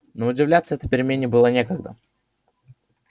но удивляться этой перемене было некогда